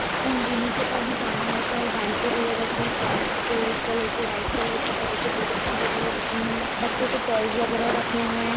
इन ज़ीनो के ऊपर भी सामान रखा है। बाल्टी वगेरा रखे हैं। प्लास्टिक के रेड कलर के वाइट कलर के छोटे-छोटे स्टूल वगेरा रखे हुए हैं। बच्चों के टॉयज वगेरा रखे हुए हैं।